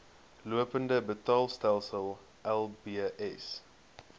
lopende betaalstelsel lbs